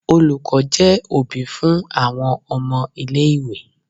Olùkọ́ jẹ́ òbí fún àwọn ọmọ-ilé-ìwé.